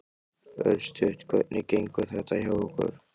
Örstutt, hvernig gengur þetta hjá ykkur?